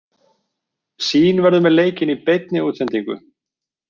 Sýn verður með leikinn í beinni útsendingu.